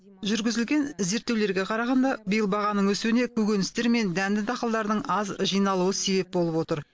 жүргізілген зерттеулерге қарағанда биыл бағаның өсуіне көкөністер мен дәнді дақылдардың аз жиналуы себеп болып отыр